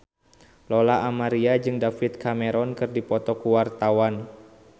Lola Amaria jeung David Cameron keur dipoto ku wartawan